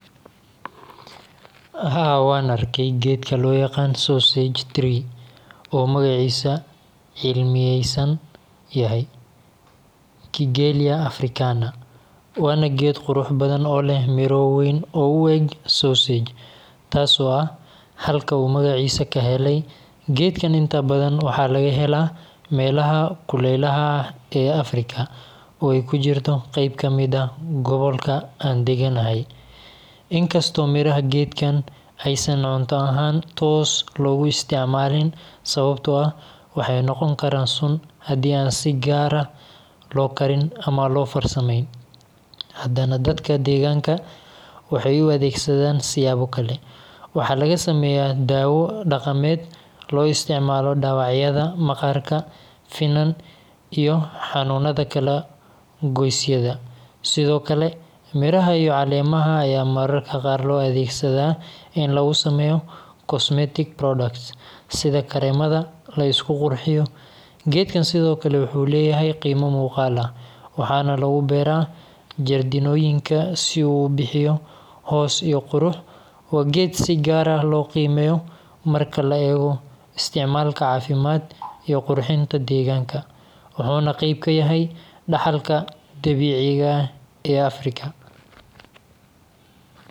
Geedka sausage loo yaqaan oo magaciisa cilmeysan yahay kigeeliya Africana, geedkaan inta badan waxaa laga helaa meelaha uu kuleelka kajiro oo uu kujiro gobolka aan daganahy in kastoo miraha geedkaan aan cunto ahaan toos loogu isticmaalin ssbto ah waxey noqon karaa haddii aan si gaar ah loo karin ama loo farsameynin hadana dadka deegaanka waxy u adeegsadaan siyaabo kale waxey na ka sameeyaan daawo dhaqamed lagu daaweeyo dhaawacyada waarkood , finanka iyo xanuunka kala goysyada , miraha iyto caleemaha ayaa mararka qaar loo adeegsadaa in laga sameeyo cosmetic products .geedkaan wuxuu sidoo kale leeyahay qiimo macquul ah waxaana lagu beera jardinnoyinka si uu ubixyo hoos iyo qurux , wa geed si gaar loo qiimyo wuxuuna qeyb ka yahay dhaxalka Arfica.